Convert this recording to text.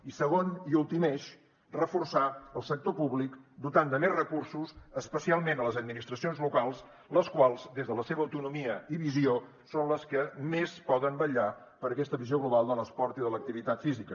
i segon i últim eix reforçar el sector públic dotant de més recursos especialment les administracions locals les quals des de la seva autonomia i visió són les que més poden vetllar per aquesta visió global de l’esport i de l’activitat física